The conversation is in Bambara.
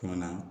Kɔnɔna na